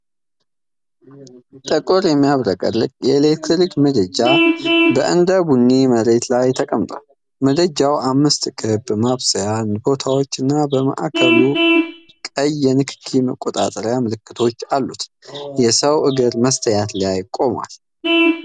ጥቁር የሚያብረቀርቅ የኤሌክትሪክ ምድጃ በእንደ ቡኒ መሬት ላይ ተቀምጧል። ምድጃው አምስት ክብ ማብሰያ ቦታዎችና በማዕከሉ ቀይ የንክኪ መቆጣጠሪያ ምልክቶች አሉት። የሰው እግር መስታይት ላይ ቆሟል፡፡